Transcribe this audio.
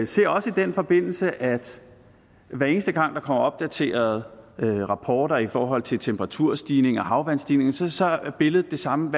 ser også i den forbindelse at hver eneste gang der kommer opdaterede rapporter i forhold til temperaturstigninger havvandsstigninger så så er billedet det samme